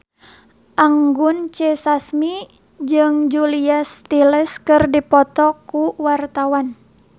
Anggun C. Sasmi jeung Julia Stiles keur dipoto ku wartawan